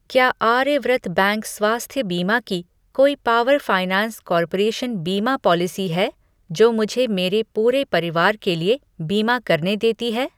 क्या आर्यव्रत बैंक स्वास्थ्य बीमा की कोई पावर फ़ाइनैंस कॉर्पोरेशन बीमा पॉलिसी है जो मुझे मेरे पूरे परिवार के लिए बीमा करने देती है?